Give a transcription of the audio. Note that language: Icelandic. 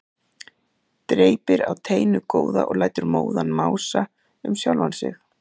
Dreypir á teinu góða og lætur móðan mása um sjálfan sig.